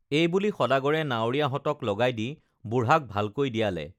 এইবুলি সদাগৰে নাৱৰীয়াহঁতক লগাই দি বুঢ়াক ভালকৈ দিয়ালে